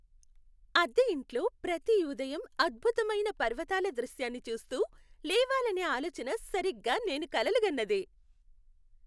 అద్దె ఇంట్లో ప్రతి ఉదయం అద్భుతమైన పర్వతాల దృశ్యాన్ని చూస్తూ, లేవాలనే ఆలోచన సరిగ్గా నేను కలలుగన్నదే.